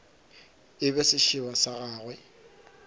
e be sešeba sa gagwe